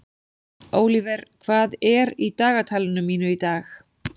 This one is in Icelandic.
Ólíver, hvað er í dagatalinu mínu í dag?